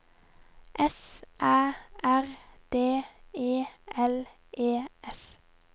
S Æ R D E L E S